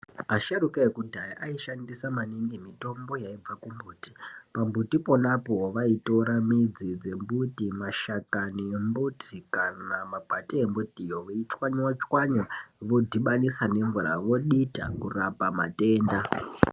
Asharuka ekudhaya aishandisa maningi mitombo yaibva kumbuti. Pambuti ponapo vaitora midzi dzembuti, mashakani embuti kana makwati embutiyo yeichwanywa-chwanywa vodhibanisa nemvura, vodita kurapa matenda.